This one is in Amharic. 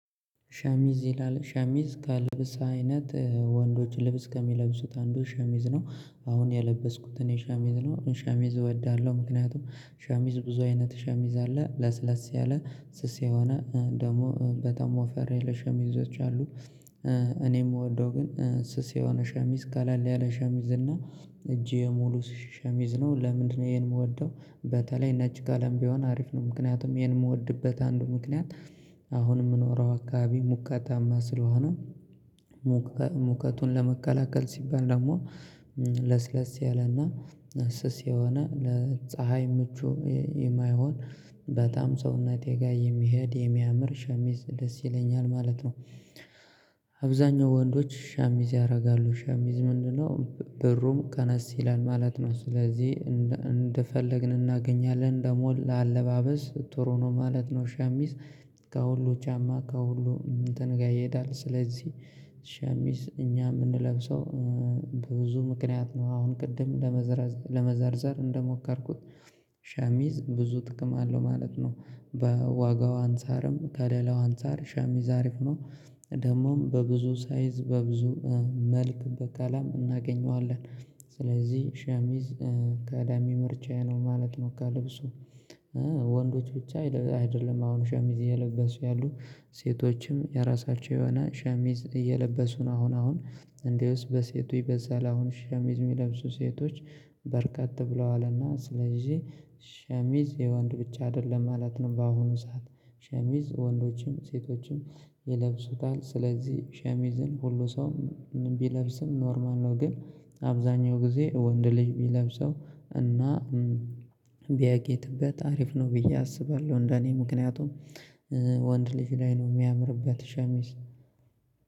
ሻሚዝ ይላል ሻሚዝ ከልብስ አይነት ወንዶች ልብስ ከሚለብሱት አንዱ ሻሚዝ ነው አሁን ያለበስኩትን ሻሚዝ ነው ሻሚዝ እወዳለሁ። ምክንያቱም ሻሚዝ ብዙ አይነት ሻሚዝ አለ ለስለስ ያለ ስስ የሆነ ደግሞ በጣም ወፈር ያለ ሸሚዞች አሉ። እኔ የምወደው ግን ስስ የሆነ ሸሚዝ ቀለል ያለ ሸሚዝ እና እጄ ሙሉ ሸሚዝ ነው። ለምንድነው ይሄን የምወደው በተለይ ነጭ ቀለም ቢሆን አሪፍ ነው ምክንያቱም ይሄን የምወድበት አንዱ ምክንያት። አሁን ምኖረያው አካባቢ ሙቀታማ ስለሆነ ሙቀቱን ለመከላከል ሲባል ደግሞ ለስለስ ያለና ስስ የሆነ ለፀሀይ ምቹ የማይሆን በጣም ሰውነቴ ጋር የሚሄድ የሚያምር ሻሚዝ ደስ ይለኛል ማለት ነው። አብዛኛው ወንዶች ሻሚዝ ያደርጋሉ ሻሚዝ ምንድነው? ብሩም ቀነስ ይላል ማለት ነው ስለዚህ እንደፈለግን እናገኛለን ደግሞ ለአለባበስ ጥሩ ነው ማለት ነው። ሻሚስ ከሁሉ ጫማ ከሁሉ እንትን ጋር ይሄዳል ስለዚህ። ሸሚዝ እኛ የምንለብሰው በብዙ ምክንያት ነው አሁን ቅድም ለመዘርዘር እንደሞከርኩት ሻሚዝ ብዙ ጥቅም አለው ማለት ነው። በዋጋው አንፃርም ከለላው አንፃር ሻሚዝ አሪፍ ነው። ደግሞም በብዙ ሳይዝ በብዙ መልክ በቀለም እናገኘዋለን። ስለዚህ ሻሚዝ ቀዳሚ ምርጫዬ ነው ማለት ነው። ከልብሱ ወንዶች ብቻ አይደለም አሁን ሸሚዝ እየለበሱ ያሉ ሴቶችም የራሳቸው የሆነ ሸሚዝ እየለበሱ ነው። አሁን አሁን እንደውስ በሴቱ ይበዛል አሁን ሸሚዝ የሚለብሱ ሴቶች በርቀት ብለዋልና ስለዚህ ሸሚዝ የወንድ ብቻ አይደለም ማለት ነው። በአሁኑ ሰዓት ሸሚዝ ወንዶችም ሴቶችም ይለብሱታል ስለዚህ ሸሚዝን ሁሉ ሰውም ቢለብስም ኖርማል ነው። ግን አብዛኛው ጊዜ ወንድ ልጅ ቢለብሰው እና ቢያጌጥበት አሪፍ ነው ብዬ አስባለሁ። እንደኔ ምክንያቱም ወንድ ልጅ ላይ ነው የሚያምርበት ሸሚዝ